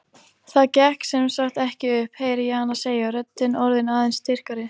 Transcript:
Það gekk sem sagt ekki upp, heyri ég hana segja, röddin orðin aðeins styrkari.